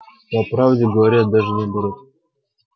по правде говоря даже наоборот